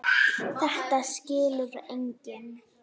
Þetta skilur enginn.